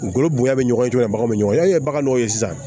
Dugukolo bonya bɛ ɲɔgɔn ye cogo jumɛn baganw be ɲɔgɔn ye yani baganw ye sisan